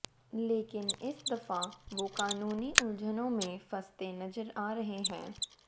लेकिन इस दफा वो कानूनी उलझनों में फंसते नजर आ रहे हैं